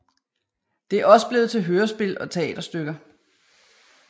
Det er også blevet til hørespil og teaterstykker